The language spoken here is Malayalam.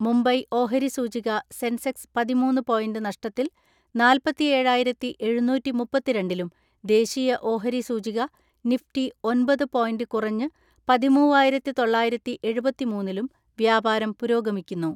മുംബൈ ഓഹരി സൂചിക സെൻസെക്സ് പതിമൂന്ന്‌ പോയിന്റ് നഷ്ടത്തിൽ നാല്പത്തിഏഴായിരത്തി എഴുന്നൂറ്റിമുപ്പത്തിരണ്ടിലും ദേശീയ ഓഹരി സൂചിക നിഫ്റ്റി ഒൻപത് പോയിന്റ് കുറഞ്ഞ് പതിമൂവായിരത്തിതൊള്ളായിരത്തിഎഴുപത്തിമൂന്നിലും വ്യാപാരം പുരോഗമിക്കുന്നു.